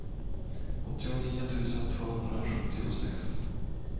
åttionio tusen tvåhundrasjuttiosex